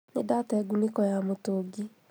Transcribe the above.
Nĩndatee ngunĩko ya mũtũngi